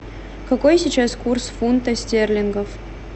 какой сейчас курс фунта стерлингов